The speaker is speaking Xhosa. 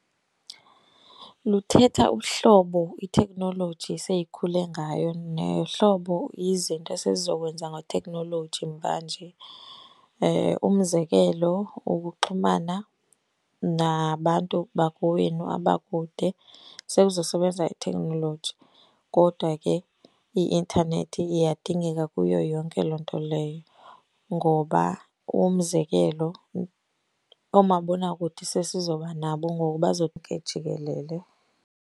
Luthetha uhlobo iteknoloji eseyikhule ngayo nohlobo izinto esezizokwenza ngeteknoloji mvanje. Umzekelo ukuxhumana nabantu bakowenu abakude sekuzosebenza iteknoloji. Kodwa ke i-intanethi iyadingeka kuyo yonke loo nto leyo ngoba umzekelo, oomabonakude sesizoba nabo ngoku jikelele.